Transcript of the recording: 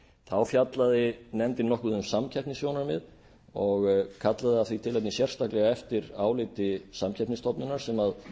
þá fjallaði nefndin nokkuð um samkeppnissjónarmið og kallaði af því tilefni sérstaklega eftir áliti samkeppnisstofnunar sem